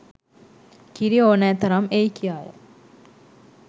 කිරි ඕනෑ තරම් එයි කියාය